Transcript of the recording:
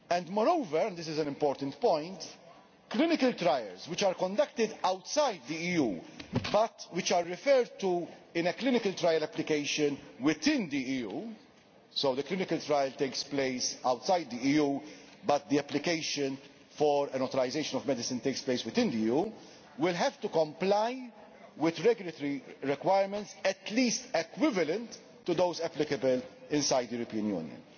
Moreover and this is an important point clinical trials that are conducted outside the EU but which are referred to in a clinical trial application within the EU so where the clinical trial takes place outside the EU but the application for an authorisation of medicine takes place within the EU will have to comply with regulatory requirements at least equivalent to those applicable inside the European Union.